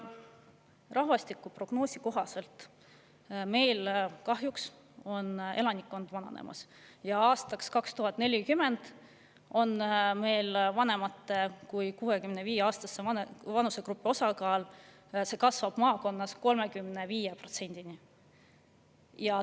Rahvastikuprognoosi kohaselt on meil kahjuks elanikkond vananemas ja aastaks 2040 kasvab meil vanemate kui 65‑aastaste osakaal maakonnas 35%-ni.